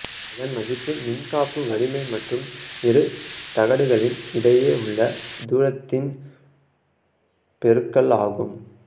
அதன் மதிப்பு மின்காப்பு வலிமை மற்றும் இரு தகடுகளின் இடையே உள்ள தூரத்தின் பெருக்கல் ஆகும்